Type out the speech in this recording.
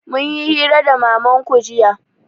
Mun yi hira da mamanku jiya